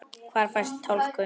Hvar fæst talkúm?